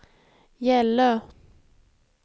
Gällö